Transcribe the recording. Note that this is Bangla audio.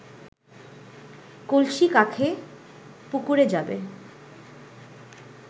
কলসি কাঁখে পুকুরে যাবে